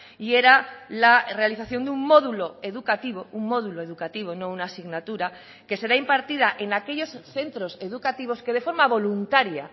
y era la realización de un módulo educativo un módulo educativo no una asignatura que será impartida en aquellos centros educativos que de forma voluntaria